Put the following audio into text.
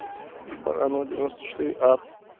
баранова девяноста четыре а